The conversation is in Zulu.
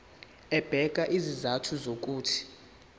ebeka izizathu zokuthi